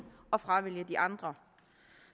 og fravælge de andre